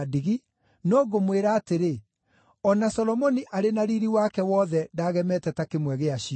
no ngũmwĩra atĩrĩ, o na Solomoni arĩ na riiri wake wothe ndagemete ta kĩmwe gĩacio.